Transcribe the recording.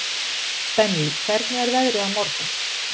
Benvý, hvernig er veðrið á morgun?